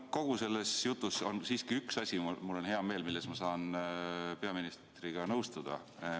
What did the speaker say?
Kogu selles jutus on siiski üks asi – ja mul on selle üle hea meel –, milles ma saan peaministriga nõustuda.